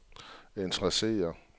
interesserer